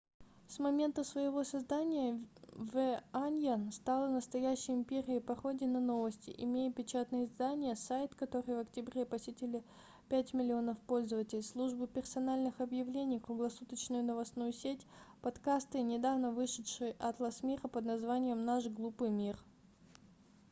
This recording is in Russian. с момента своего создания the onion стала настоящей империей пародий на новости имея печатное издание сайт который в октябре посетили 5 000 000 пользователей службу персональных объявлений круглосуточную новостную сеть подкасты и недавно вышедший атлас мира под названием наш глупый мир